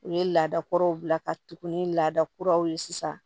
U ye laada kuraw bila ka tugu ni laada kuraw ye sisan